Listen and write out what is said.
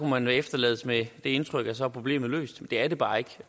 man efterlades med det indtryk at så er problemet løst det er det bare ikke